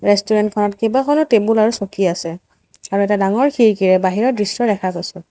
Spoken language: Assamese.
ৰেষ্টোৰেণ্ট খনত কেইবাখনো টেবুল আৰু চকী আছে আৰু এটা ডাঙৰ খিৰীকিয়ে বাহিৰৰ দৃশ্য দেখা গৈছে।